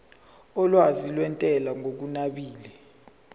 olwazi lwentela ngokunabile